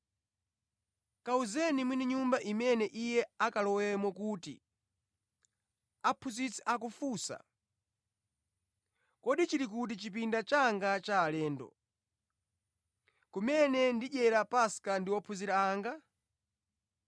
Kawuzeni mwini nyumba imene iye akalowemo kuti, ‘Aphunzitsi akufunsa: kodi chili kuti chipinda changa cha alendo, kumene ndidyere Paska ndi ophunzira anga?’